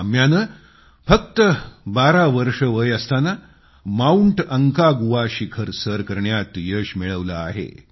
काम्याने फक्त बारा वर्ष वय असताना माउंट अंकागुआ शिखर सर करण्यात यश मिळवलं आहे